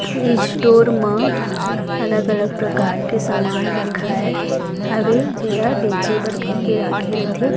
इ स्टोर म अलग -अलग प्रकार के सामान रखा हवे जेला बेचे बर कहिके राखे रथे --